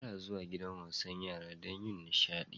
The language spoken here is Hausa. Ana zuwa gidan wasan yara don yin nishaɗi.